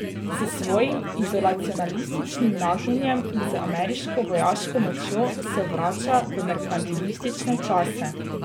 S svojim izolacionističnim nagnjenjem in z ameriško vojaško močjo se vrača v merkantilistične čase.